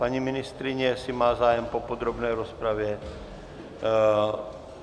Paní ministryně jestli má zájem po podrobné rozpravě?